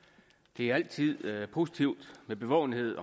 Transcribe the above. det er altid positivt med bevågenhed